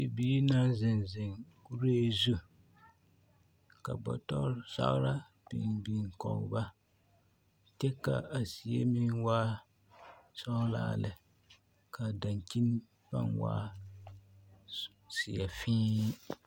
Bibiiri naŋ zeŋ zeŋ kuree zu ka bɔtɔre zagera biŋ biŋ kɔge ba kyɛ ka a zie meŋ waa sɔgelaa lɛ k'a daŋkyini pãã waa zeɛ fēē.